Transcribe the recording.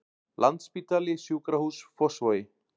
Landsspítali Sjúkrahús Fossvogi